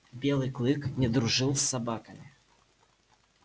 белый клык не дружил с собаками